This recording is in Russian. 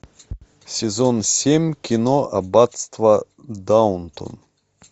сезон семь кино аббатство даунтон